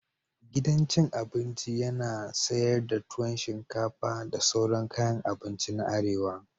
Gidan cin abinci yana sayar da tuwon shinfaka da sauran kayan abinci na arewa.